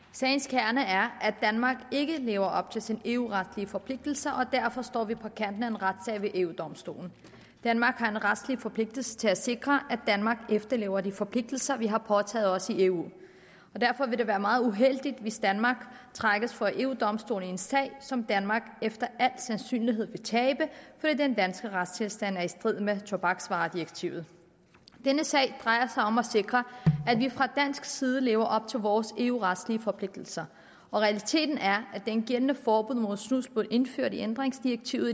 sagens kerne er at danmark ikke lever op til sine eu retslige forpligtelser og derfor står vi på kanten af en retssag ved eu domstolen danmark har en retslig forpligtelse til at sikre at danmark efterlever de forpligtelser vi har påtaget os i eu og derfor vil det være meget uheldigt hvis danmark trækkes for eu domstolen i en sag som danmark efter al sandsynlighed vil tabe fordi den danske retstilstand er i strid med tobaksvaredirektivet denne sag drejer sig om at sikre at vi fra dansk side lever op til vores eu retslige forpligtelser og realiteten er at det gældende forbud mod snus blev indført i ændringsdirektivet